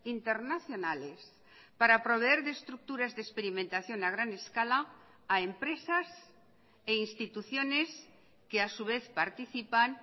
internacionales para proveer de estructuras de experimentación a gran escala a empresas e instituciones que a su vez participan